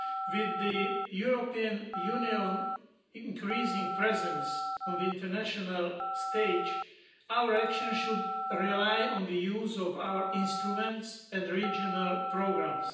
With the European Union's increasing presence on the international stage, our actions should rely on the use of our instruments and the regional programmes.